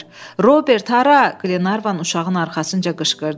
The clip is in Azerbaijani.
Robert hara, Glenarvan uşağın arxasınca qışqırdı.